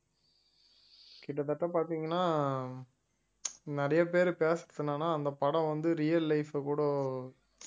கிட்டத்தட்ட பாத்தீங்கன்னா நிறைய பேர் பேசறது என்னென்னா அந்தப் படம் வந்து real life அ கூட